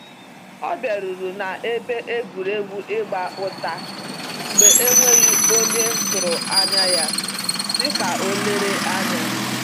Ọ biaruru na ebe egwuregwu ịgba ụta mgbe n'enweghi onye tụrụ anya ya, si ka o lere anya